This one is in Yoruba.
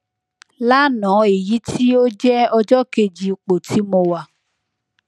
lana eyiti o jẹ ọjọ keji ipo ti mo wa